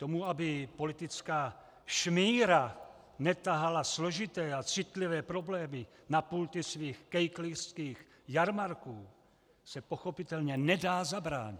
Tomu, aby politická šmíra netahala složité a citlivé problémy na pulty svých kejklířských jarmarků, se pochopitelně nedá zabránit.